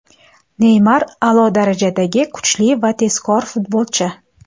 Neymar a’lo darajadagi kuchli va tezkor futbolchi.